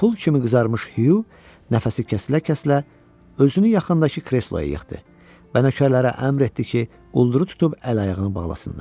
Pul kimi qızarmış Hüq nəfəsi kəsilə-kəsilə özünü yaxındakı kresloya yıxdı və nökərlərə əmr etdi ki, qulduru tutub əl-ayağını bağlasınlar.